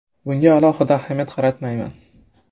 Bunga alohida ahamiyat qaratmayman.